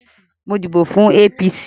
Mo díbò fún APC